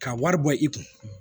Ka wari bɔ i kun